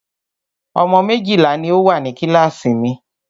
Ọmọ méjìlá ní o wà ní kíláàsì mi.